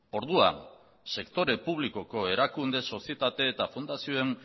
orduan sektore publikoko erakunde sozietate eta fundazioen